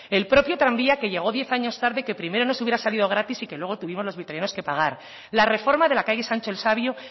el propio tranvía que llegó diez años tarde que primero nos hubiera salido gratis y que luego tuvimos los vitorianos que pagar la reforma de la calle sancho el sabio